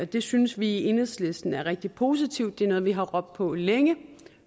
det synes vi i enhedslisten er rigtig positivt det er noget vi har råbt på længe